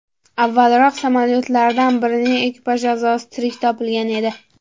Avvalroq, samolyotlardan birining ekipaj a’zosi tirik topilgan edi.